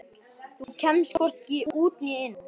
Þú kemst hvorki út né inn.